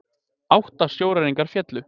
Átta sjóræningjar féllu